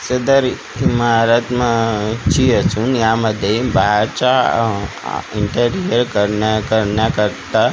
सदर इमारत मा ची असून यामध्ये बाहेरच्या इंटेरियर करण्या करण्याकरता--